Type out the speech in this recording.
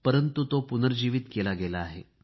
परंतु आता तो पुनर्जीवित केला गेला आहे